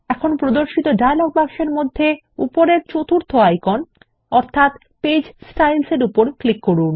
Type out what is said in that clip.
এখন প্রদর্শিত ডায়লগ বাক্সের মধ্যে উপরের চতুর্থ আইকন পেজ Styles এর উপর ক্লিক করুন